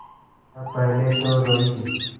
तब पहले तो रोयी